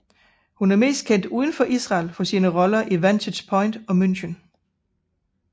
Hun er mest kendt udenfor Israel for sine roller i Vantage Point og München